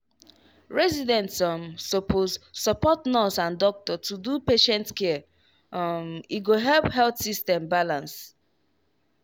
residents um suppose support nurse and doctor to do patient care um e go help health system balance.